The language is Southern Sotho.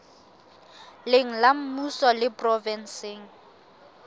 leng la mmuso le provenseng